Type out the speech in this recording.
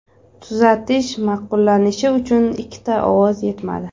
Tuzatish ma’qullanishi uchun ikkita ovoz yetmadi.